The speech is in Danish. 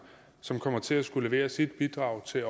som også kommer til at skulle levere sit bidrag til